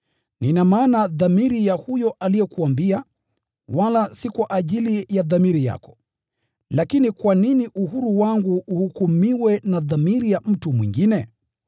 Nina maana dhamiri ya huyo aliyekuambia, wala si kwa ajili ya dhamiri yako. Lakini kwa nini uhuru wangu uhukumiwe na dhamiri ya mtu mwingine?